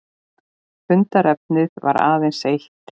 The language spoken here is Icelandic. Fundarefnið var aðeins eitt